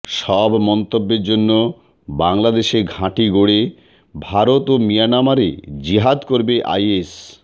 সব মন্তব্যের জন্য বাংলাদেশে ঘাঁটি গড়ে ভারত ও মিয়ানমারে জিহাদ করবে আইএস